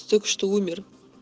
только что умер